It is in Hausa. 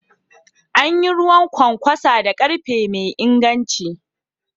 An yi ruwan kwankwasa da karfe mai inganci.